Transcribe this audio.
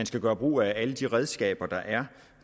skal gøre brug af alle de redskaber der er